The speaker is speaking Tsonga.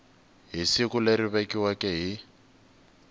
hi siku leri vekiweke hi